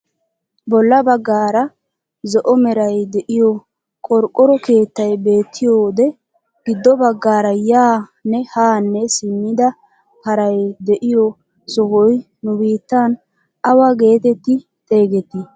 Bolla baggaara zo'o meray de'iyoo qorqqoro keettay beettiyoode giddo baggaara yaanne haa simmida paray de'iyoo sohoy nu biittan awa getetti xeegettii?